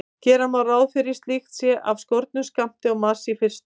Gera má ráð fyrir að slíkt sé af skornum skammti á Mars í fyrstu.